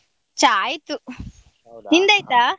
ಚಾ ಆಯ್ತು.